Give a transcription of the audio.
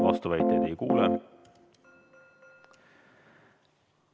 Vastuväiteid ei kuule.